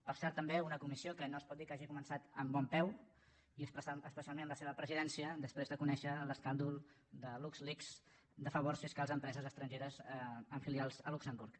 per cert també una comissió que no es pot dir que hagi començat amb bon peu i especialment la seva presidència després de conèixer l’escàndol de lux leaks de favors fiscals a empreses estrangeres amb filials a luxemburg